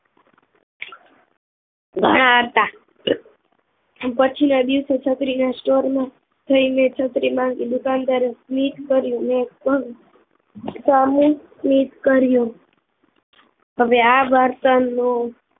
ઘણા હત પછીના દિવસો છત્રીના સ્ટોરમાં જઈને છત્રી માંગી દુકાનદારે સ્મિત કર્યુ મેપણ સામુ સ્મિત કર્ય હવે આ વાર્તા નો